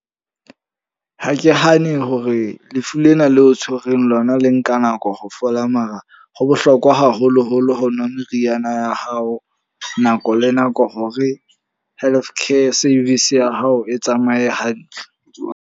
Ha ke hane hore lefu lena leo tshwereng lona le nka nako ho fola. Mara ho bohlokwa haholo-holo ho nwa meriana ya hao nako le nako. Ho re healthcare service ya hao e tsamaye hantle.